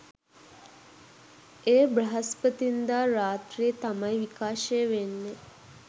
එය බ්‍රහස්පතින්දා රාත්‍රී තමයි විකාශය වෙන්නේ